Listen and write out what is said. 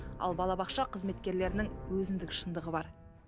ал балабақша қызметкерлерінің өзіндік шындығы бар